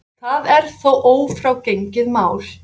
Það er þó ófrágengið mál.